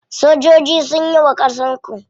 Sojoji sunyi wa ƙasar ku.